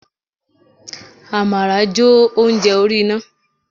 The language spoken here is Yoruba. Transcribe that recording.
Amara jo ounjẹ orí iná.